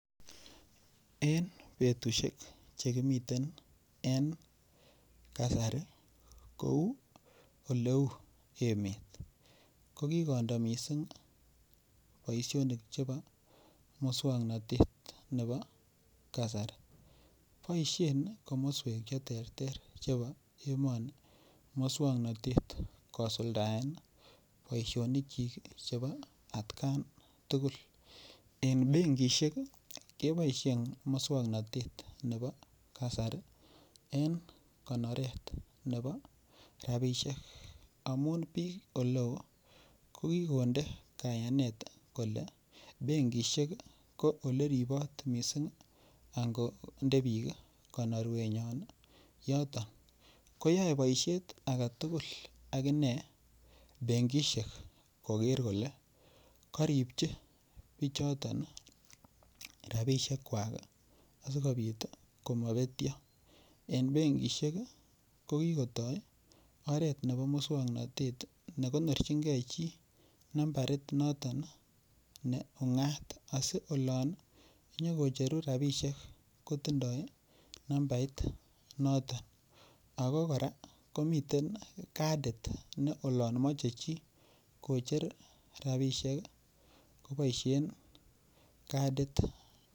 En betushek chekimiten en kasari kou oleu emet ko kikondo mising' boishonik chebo muswang'notet nebo kasari boishe komoswek cheterter chebo emoni moswong'notet kosuldaen boishonikchik chebo atkan tugul eng' benkishek keboishe mosong'natet nebo kasari en konoret nebo rabishek amun ing' ole oo kokikonde kayanet kole benkishek ko ole ripot mising' ango nde biik konorwengwai yoto koyoei boishet age tugul akine benkishek koker kole karipchi bichoton rabishekwak sikobit komapetyo eng' bengishek kokikotoi oret nebo muswong'notet nekonorchingei chi nambarit noton ne ung'at asi olon nyikocherun rabishek kotindoi nambait noton ako kora komiten kadit ne olon mochei chi kocher rabishek koboishen kadit